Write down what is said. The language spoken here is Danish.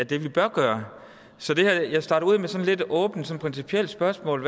vi bør gøre så jeg starter ud med et sådan lidt åbent principielt spørgsmål